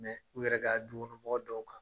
u yɛrɛ ka dukɔnɔmɔgɔ dɔw kan.